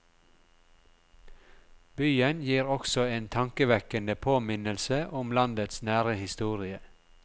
Byen gir også en tankevekkende påminnelse om landets nære historie.